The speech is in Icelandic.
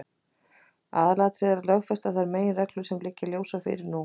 Aðalatriðið er að lögfesta þær meginreglur sem nú liggja ljósar fyrir.